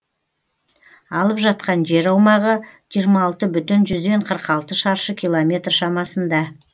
алып жатқан жер аумағы жиырма алты бүтін жүзден қырық алты шаршы километр шамасында